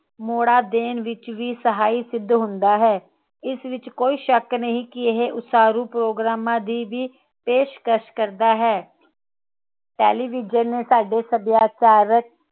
ਮੋੜਾ ਦੇਣ ਵਿਚ ਵੀ ਸਹਾਈ ਸਿੱਧ ਹੁੰਦਾ ਹੈ ਇਸ ਵਿਚ ਕੋਈ ਸ਼ੱਕ ਨਹੀਂ ਕਿ ਇਹ ਉਸਾਰੂ ਪ੍ਰੋਗਰਾਮਾਂ ਦੀ ਵੀ ਪੇਸ਼ਕਸ਼ ਕਰਦਾ ਹੈ ਟੈਲੀਵਿਜ਼ਨ ਸਾਡੇ ਸੱਭਿਆਚਾਰਕ